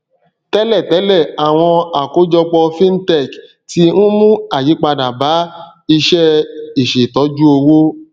tẹlẹ tẹlẹ àwọn àkójọpọ fintech tí ń mú àyípadà bá iṣẹ ìṣètọjúowó